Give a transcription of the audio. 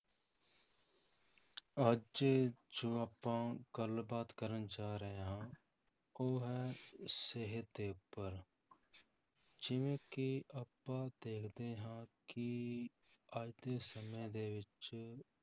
ਅੱਜ ਜੋ ਆਪਾਂ ਗੱਲਬਾਤ ਕਰਨ ਜਾ ਰਹੇ ਹਾਂ, ਉਹ ਹੈ ਸਿਹਤ ਦੇ ਉੱਪਰ ਜਿਵੇਂ ਕਿ ਆਪਾਂ ਦੇਖਦੇ ਹਾਂ ਕਿ ਅੱਜ ਦੇ ਸਮੇਂ ਦੇ ਵਿੱਚ